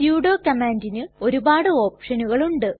sudo കമ്മാണ്ടിനു ഒരുപാട് ഓപ്ഷനുകൾ ഉണ്ട്